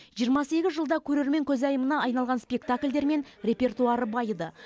жиырма сегіз жылда көрермен көзайымына айналған спектакльдермен репертуары байыды